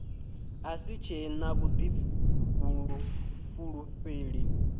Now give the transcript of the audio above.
a si tshe na vhuḓifulufheli